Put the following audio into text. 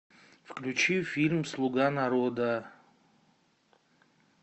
включи фильм слуга народа